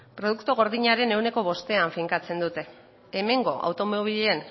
produktu gordinaren ehuneko bostean finkatzen dute hemengo automobilen